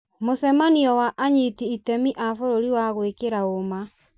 mũcemanio wa anyiti itemi a bũrũri wa gwĩkĩra ũma.